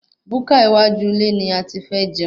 Búkà iwájú ilé ni ati fẹ́ jẹun